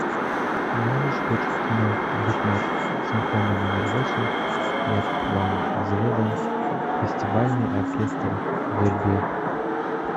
можешь включить кино гукне симфония номер восемь яп ван зведен фестивальный оркестр вербье